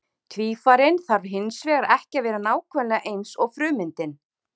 Tvífarinn þarf hins vegar ekki að vera nákvæmlega eins og frummyndin.